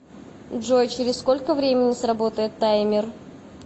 джой через сколько времени сработает таймер